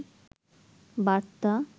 বার্তা